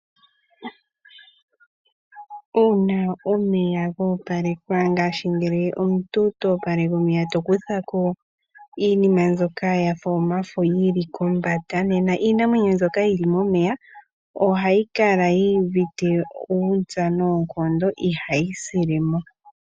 Uuna omeya ga opalekwa ngaashi ngele omuntu ta opaleke omeya to kutha ko iinima mbyoka yafa omafo yili kombanda. Nena iinamwenyo mbyo yili momeya ohayi kala yi uvite uuntsa noonkondo, ihayi sile mo.